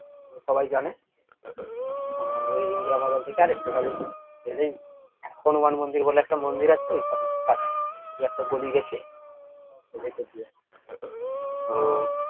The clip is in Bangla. সবাই জানে আহ ওই ইন্দিরা ময়দান থেকে আরেকটু গেলেই হনুমান মন্দির বলে একটা মন্দির আছে ঐখানে কাছে যে একটা গলি গেছে ওর ভেতর দিয়ে